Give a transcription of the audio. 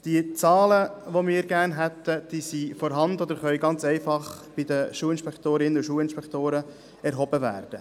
Die Zahlen, die wir gerne hätten, sind vorhanden oder können ganz einfach bei den Schulinspektoren und Schulinspektorinnen erhoben werden.